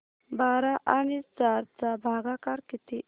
बारा आणि चार चा भागाकर किती